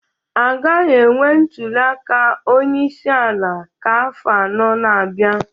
agaghị enwe ntuli aka onye isi ala ka afọ anọ na-abịa